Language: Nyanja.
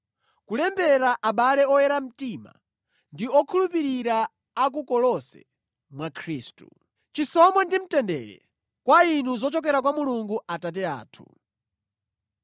Kulembera abale oyera mtima ndi okhulupirira a ku Kolose mwa Khristu. Chisomo ndi mtendere kwa inu zochokera kwa Mulungu Atate athu.